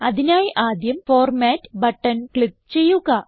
അതിനായി ആദ്യം format button click ചെയ്യുക